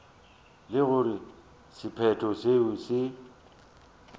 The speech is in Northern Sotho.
le gore sephetho seo se